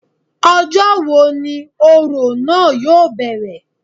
Ọjọ́ wo ni òrò náà yóò bẹ̀rẹ̀